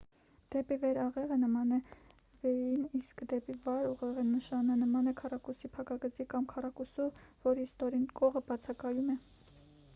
«դեպի վեր աղեղը» նման է v-ին իսկ «դեպի վար աղեղի նշանը» նման է քառակուսի փակագծի կամ քառակուսու որի ստորին կողը բացակայում է։